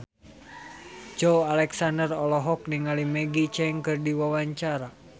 Joey Alexander olohok ningali Maggie Cheung keur diwawancara